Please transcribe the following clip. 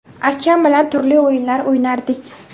Akam bilan turli o‘yinlar o‘ynardik.